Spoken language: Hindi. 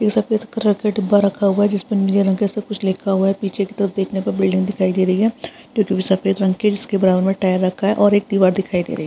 ये सफ़ेद कलर का डिब्बा रखा हुआ हैं जिसपे नीले रंग के से कुछ लिखा हुआ है | पीछे की तरफ देखने पर बिल्डिंग दिखाई दे रही है जो कि सफ़ेद रंग की है उसके बराबर में टायर रखा है और एक दीवार दिखाई दे रही है।